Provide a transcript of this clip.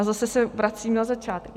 A zase se vracím na začátek.